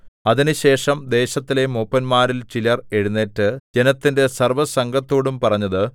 അതിനുശേഷം ദേശത്തിലെ മൂപ്പന്മാരിൽ ചിലർ എഴുന്നേറ്റ് ജനത്തിന്റെ സർവ്വസംഘത്തോടും പറഞ്ഞത്